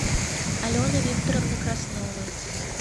алены викторовны красновой